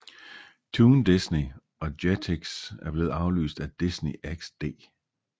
Toon Disney og Jetix er blevet afløst af Disney XD